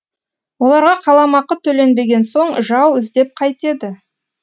оларға қаламақы төленбеген соң жау іздеп қайтеді